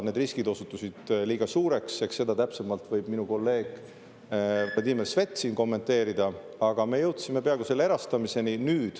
Need riskid osutusid liiga suureks – eks seda võib minu kolleeg Vladimir Svet siin täpsemalt kommenteerida –, aga me jõudsime peaaegu erastamiseni.